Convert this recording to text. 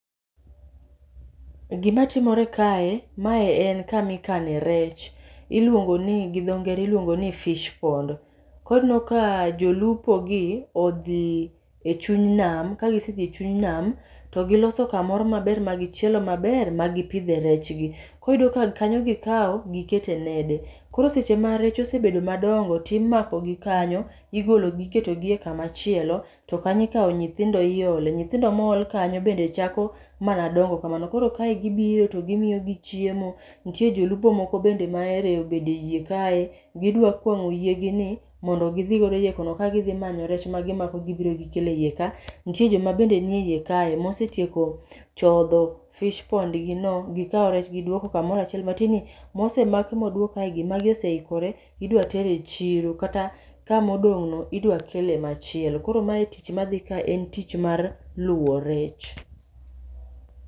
E gima timore kae, mae en kamikane rech. Iluongo ni gidho ngere iluongo ni fish pond. Kori neno ka jolupo gi odhi e chuny nam, kagisedhi e chuny nam to giloso kamoro maber ma gichielo maber ma gipidhe rech gi. Koriyudo ka kanyo gikao gikete nede, koro seche ma rech osebedo madongo timakogi kanyo, igologi iketogi e kama chielo. To kanyo ikawo nyithindo iole, nyithindo mool kanyo bende chako mana dongo kamano. Koro kae gibiro to gimiyogi chiemo, nitie jolupo moko bende ma ero obede yie kae. Gidwa kwang'o yiegi ni mondo gidhi godo iye kono kadhi manyo rech ma gimako gibiro gikele iye ka. Nitie joma bende nitie e iye kae mosetieko chodho i fish pond gi no gikaw rech gidwoko kamorachiel. Matieni mosemaki modwok kaegi magi oseikore idwa ter e chiro, kata kamodong'no idwa kele machielo. Koro meae tich madhi ka en tich mar luwo rech.